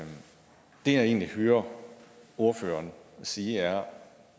egentlig hører ordføreren sige er